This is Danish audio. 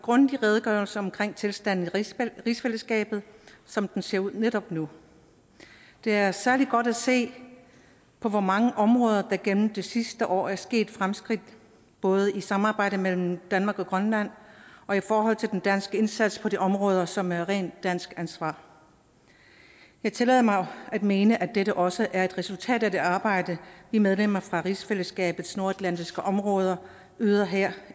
grundig redegørelse om tilstanden i rigsfællesskabet som den ser ud netop nu det er særlig godt at se på hvor mange områder der gennem det sidste år er sket fremskridt både i samarbejde mellem danmark og grønland og i forhold til den danske indsats på de områder som er rent dansk ansvar jeg tillader mig at mene at dette også er et resultat af det arbejde vi medlemmer fra rigsfællesskabets nordatlantiske områder yder her